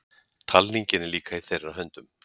Talningin er líka í þeirra höndum